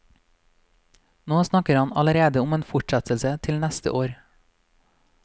Nå snakker han allerede om en fortsettelse til neste år.